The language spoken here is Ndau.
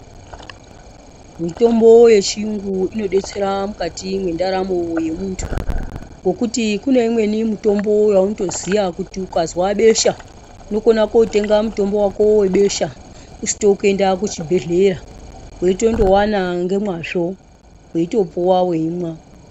Mitombo yechiyungu inodetsera mukati mwendaramo yemuntu ,ngekuti kune imweni mitombo yaunotoziya kuti ukazwa besha unokona kotenga mutombo wako webesha usito kuenda kuchibhedhleya weitondouwana ngemwazvo, weitopuwa weimwa.